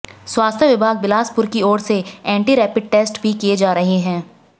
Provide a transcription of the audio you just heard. स्वास्थ्य विभाग बिलासपुर की ओर से एंटी रैपिड टेस्ट भी किए जा रहे